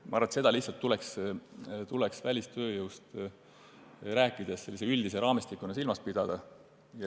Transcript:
Ma arvan, et seda kõike tuleks välistööjõust rääkides üldise raamistikuna silmas pidada.